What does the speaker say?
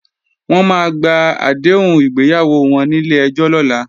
Wọ́n máa gba àdéhùn ìgbéyàwó wọn nílé ẹjọ́ lọ́la